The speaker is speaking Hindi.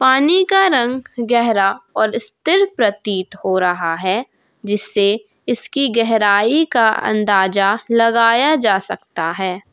पानी का रंग गहरा और स्थिर प्रतीत हो रहा है जिससे इसकी गहराई का अंदाजा लगाया जा सकता है।